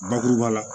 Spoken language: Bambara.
Bakuruba la